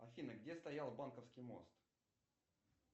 афина где стоял банковский мост